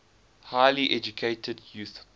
highly educated youth